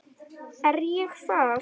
Er ég það?